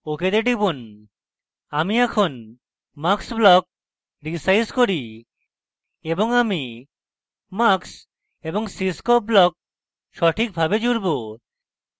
ok তে টিপুন আমি এখন mux ব্লক রীসাইজ করি এবং আমি mux এবং cscope ব্লক সঠিকভাবে জুড়ব